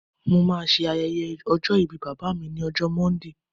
mo ma se ayẹyẹ ọjọ ìbí bàbá mi ni ọjọ monday